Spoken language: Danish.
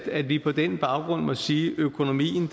at vi på den baggrund må sige økonomien